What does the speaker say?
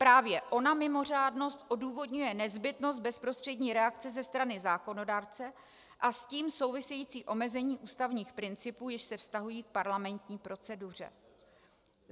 Právě ona mimořádnost odůvodňuje nezbytnost bezprostřední reakce ze strany zákonodárce a s tím související omezení ústavních principů, jež se vztahují k parlamentní proceduře.